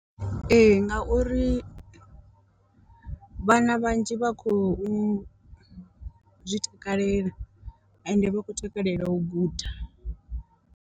Ee ngauri vhana vhanzhi vha khou zwi takalela ende vha khou takalela u guda.